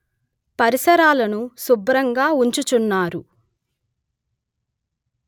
పరిసరాలను శుభ్రంగా ఉంచుచున్నారు